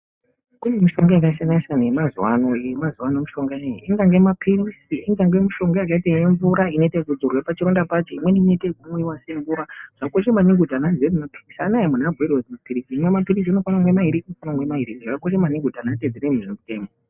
Kune mishonga yasiyana siyana yemazuwano. Yemazuvano iyi ingave mapilizi, ingave mishonga yakaite mvura inodzodzwa pachironda pacho, imweni inoita kumwiwa semvura. Zvokosha maningi kuti ana emuntaraunda azi imwa mapilizi unofana kumwa mairi zvakakosha maningi kuti antu atedzere zvemitemo.